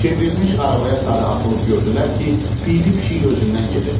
Çevrilmiş arabaya sarı atılıb gördülər ki, piyli pişik özündən gedib.